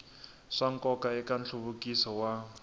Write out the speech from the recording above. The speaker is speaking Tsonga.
swa nkoka eka nhluvukiso wa